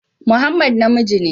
Muhammad namiji ne